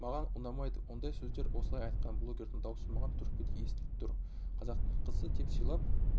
маған ұнамайды ондай сөздер осылай айтқан блогердің даусы маған түрпідей естіліп тұр қазақтың қызы деп сыйлап